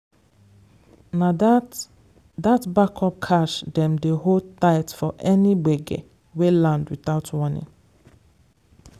na that that backup cash dem dey hold tight for any gbege wey land without warning.